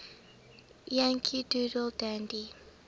yankee doodle dandy